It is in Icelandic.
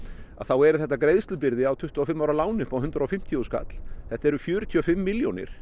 þá er þetta greiðslubyrði á tuttugu og fimm ára láni upp á hundrað og fimmtíu þúsund kall þetta eru fjörutíu og fimm milljónir